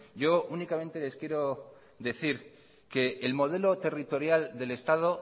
yo únicamente les quiero decir que el modelo territorial del estado